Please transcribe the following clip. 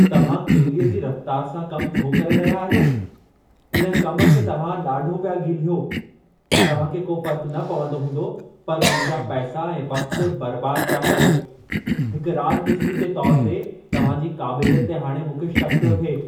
तव्हां किविलीअ जी रफ़्तार सां कम छो करे रहिया आहियो? इन कम खे तव्हां ॾाढो पिया घीलियो। तव्हां खे को फ़र्क़ न पवंदो हूंदो, पर मुंहिंजा पैसा ऐं वक़्त बर्बाद पिया कयो। हिकु राज॒मिस्त्री जे तौरु ते तव्हांजी क़ाबिलियत ते हाणे मूंखे शक़ पियो थिए।